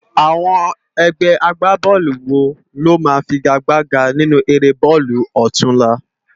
Awòn ègbè ágbábòlú wó ló má figágbágá ninú éré bólú òtúnlá?